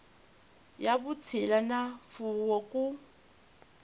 ya vutshila na mfuwo ku